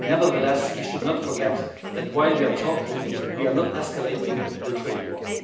Nevertheless, we should not forget that, while we are talking, we are not escalating the trade war.